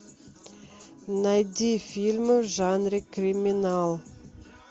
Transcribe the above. найди фильмы в жанре криминал